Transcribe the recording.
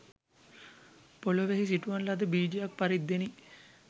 පෙළොවෙහි සිටුවන ලද බීජයක් පරිද්දෙනි